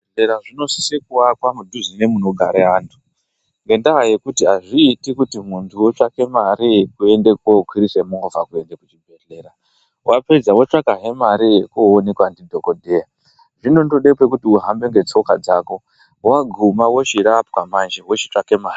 Zvibhedhlera zvinosisa kuakwa kudhuze nemunogare antu ngendaa yekuti azviiti kuti muntu otsvake mari yekuende kokwirise movha kuende kuchibhedhlera wapedza wotsvakazve mari yekuonekwazve ndidhokodheya zvinondode pekuti uhambe ngetsoka dzako waguma wochirapwa manje wochitsvake mare.